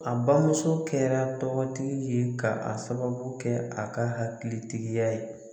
A bamuso kɛra tɔgɔ tigi ye ka a sababu kɛ a ka hakili tigiya ye.